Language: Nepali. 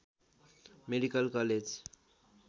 medical college